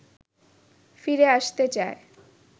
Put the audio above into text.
ফিরে আসতে চায়